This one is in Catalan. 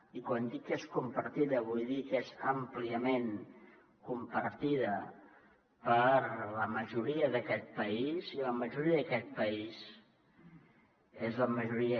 i quan dic que és compartida vull dir que és àmpliament compartida per la majoria d’aquest país i la majoria d’aquest país és la majoria